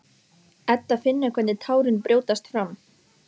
Edda finnur hvernig tárin brjótast fram.